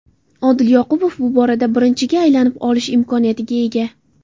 Odil Ahmedov bu borada birinchiga aylanib olish imkoniyatiga ega.